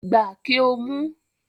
Gba kí o mu